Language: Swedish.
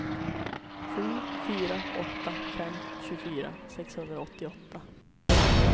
sju fyra åtta fem tjugofyra sexhundraåttioåtta